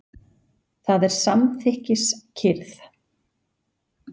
Það er samþykkis- kyrrð.